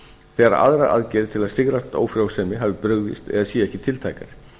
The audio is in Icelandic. þegar aðrar aðgerðir til að sigrast á ófrjósemi hafi brugðist eða séu ekki tiltækar